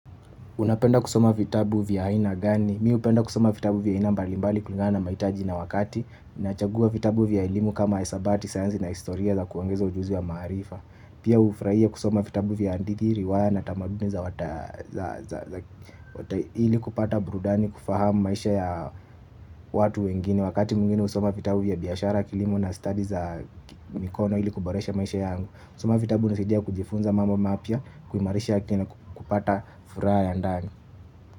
Unapenda kusoma vitabu vya haina gani? Mi upenda kusoma vitabu vya ina mbalimbali kulinga na mahitaji na wakati. Nachagua vitabu vya ilimu kama hisabati, sayansi na historia za kuongeza ujuzi wa maarifa. Pia ufurahia kusoma vitabu vya hadithi riwaya na tamaduni za wata ili kupata burudani kufahamu maisha ya watu wengine. Wakati mwingine usoma vitabu vya biyashara kilimo na stadi za mikono ili kuboresha maisha yangu. Kusoma vitabu nasidia kujifunza mambo mapya. Kuimarisha akina kupata furaha ya ndani.